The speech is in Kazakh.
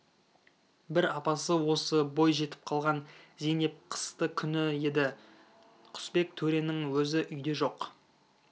бір апасы осы бой жетіп қалған зейнеп қысты күні еді құсбек төренің өзі үйде жоқ